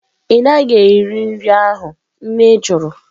Ị naghị eri nri ahụ? Nne jụrụ